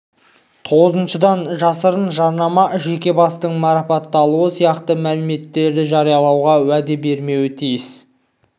тоғызыншыдан жасырын жарнама жеке бастың марапатталуы сияқты мәліметтерді жариялауға уәде бермеуі тиіс